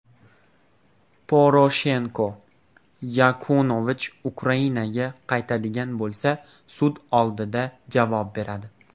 Poroshenko: Yanukovich Ukrainaga qaytadigan bo‘lsa, sud oldida javob beradi.